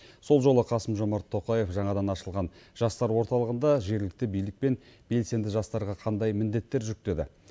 сол жолы қасым жомарт тоқаев жаңадан ашылған жастар орталығында жергілікті билік пен белсенді жастарға қандай міндеттер жүктеді